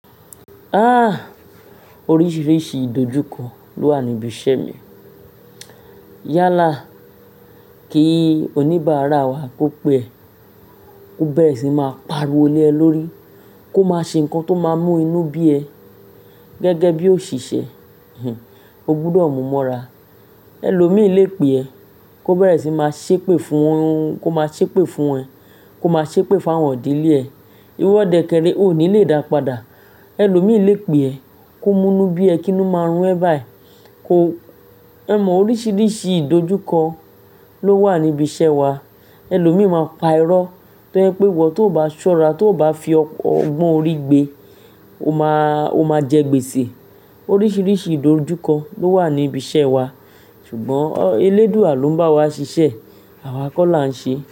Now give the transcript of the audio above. Aah! Oríṣiríṣi ìdojúkọ ló wà níbi iṣẹ́ mi. Yálà kí oníbàárà wa kó pe ẹ́, kó bẹ́rẹ̀ sì n máa pariwo lé ẹ lórí, kó má ṣe nǹkan tó máa mú inú bí ẹ. Gẹ́gẹ́ bí òṣìṣẹ́, o gbúdọ̀ mú mọ́ra. Ẹ̀lòmíi lè pè ẹ́, kó bẹ́rẹ̀ sì máa ṣépè fún un, kó máa ṣépè fún ẹ, kó máa ṣépè fún àwọn idílé ẹ. Iwọ dẹ kẹrẹ o ní lè dá padà. Ẹ̀lòmíi lè pè ẹ́ kó mú inú bí ẹ kí inú máa run ẹ báyìí. Kó-- o mọ oríṣiríṣi ìdojúkọ ló wà níbi iṣẹ́ wa. Ẹ̀lòmíi máa pa irọ́ tó je pẹ́ iwọ, tó bá ṣọ́ra, tó bá fi ọgbọ́n orí gbé, ó máa, ó máa jẹ gbèsè. Oríṣiríṣi ìdojúkọ ló wà níbi iṣẹ́ wa. Ṣùgbọ́n elédúà ló ń bá wa ṣiṣẹ́, àwa kọ́ la ń ṣe.